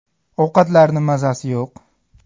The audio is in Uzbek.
Ovqatlarni mazasi yo‘q.